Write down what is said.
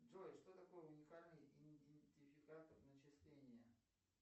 джой что такое уникальный идентификатор начисления